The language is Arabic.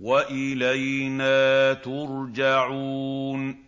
وَإِلَيْنَا تُرْجَعُونَ